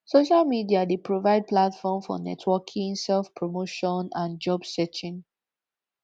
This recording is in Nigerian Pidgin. social media dey provide platform for networking selfpromotion and job searching